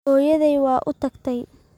Hooyaday waa u tagtay.